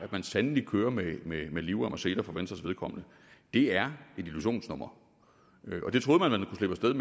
man sandelig kører med med livrem og seler for venstres vedkommende det er et illusionsnummer